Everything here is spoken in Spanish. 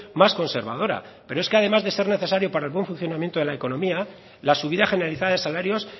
más conservadora pero es que además de ser necesario para el buen funcionamiento de la economía la subida generalizada de salarios